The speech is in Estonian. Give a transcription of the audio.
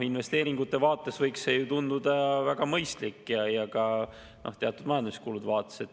Investeeringute vaates võiks see tunduda väga mõistlik ja ka teatud majanduskulude vaates.